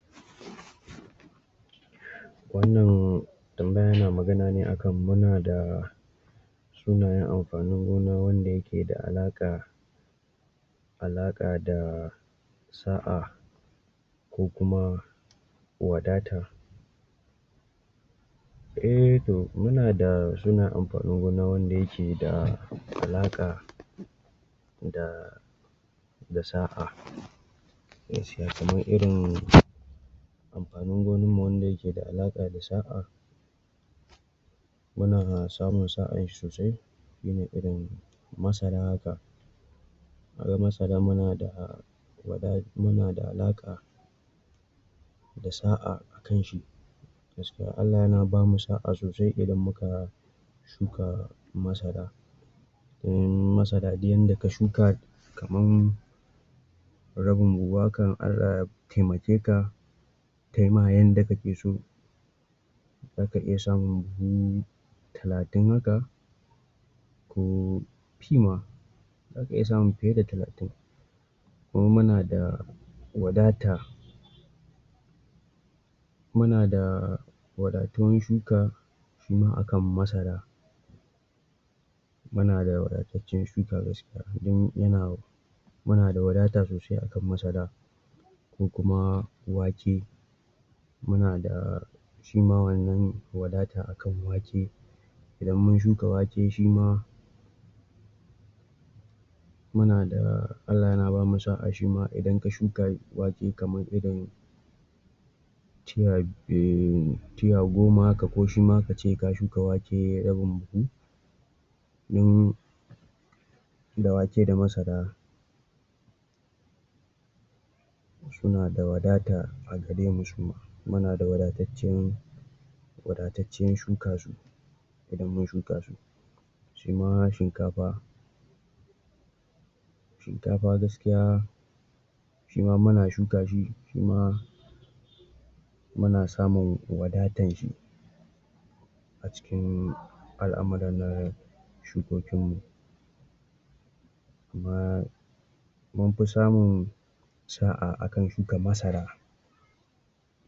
Wannan tambaya yana magana ne akan muna da sunayen amfanin gona wanda yake da alaƙa-alaƙa da sa’a ko kuma wadata. Ehh to muna da kalan amfanin gona wanda yake da alaƙa da sa’a gaskiya kamar irin amfanin gonarmu wanda yake da alaƙa da sa’a, ana samun sa sosai shine irin masara. Haka bayan masara muna da, muna da alaƙa da sa’a a kanshi gaskiya Allah yana bamu sa’a sosai idan muka shuka masara. Ehhmmm masara duk yanda ka shuka kamar rabin buhu haka, in Allah ya taimake ka taima yanda kake so, zaka iya samun buhu talatin haka ko fi ma, zaka iya samun fiye da talatin. Kuma muna da wadata, muna da wadatuwan shuka shima akan masaran. Muna da wadatattacen shuka gaskiya don yana wanda da wadata sosai akan masara. Da kuma wake, muna da shima wannan wadata akan wake idan mun shuka wake shima muna da, Allah yana bamu sa’a shima. Idan ka shuka wake kamar irin tiya dai, tiya goma haka, ko shima kace ka shuka wake rabin buhu. In da wake da masara suna da wadata, muna da wadataccen-wadataccen shuka idan mun shuka shi. Shima shi kanfa shinkafa gaskiya shima muna shuka, shima muna samun wadatarsa, al’amuranmu shukokin mu. Kuma mun fi samun sa’a akan shuka masara.